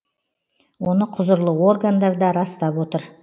оны құзырлы органдар да растап отыр